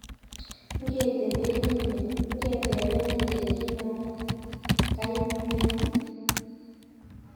ngetepenen Ile kaimyani